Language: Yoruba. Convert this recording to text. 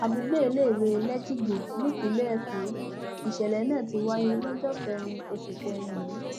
àdúgbò iléìwé lẹjìgbò nípínlẹ èkó nìṣẹlẹ náà ti wáyé lọjọ kẹrin oṣù kẹrin yìí